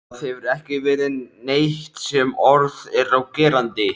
Það hefur ekki verið neitt sem orð er á gerandi.